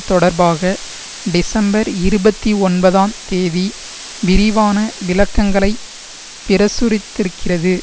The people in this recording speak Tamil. தொடர்பாக டிசம்பர் இருபத்தி ஒன்பதாம் தேதி விரிவான விளக்கங்களைப் பிரசுரித்திருக்கிறது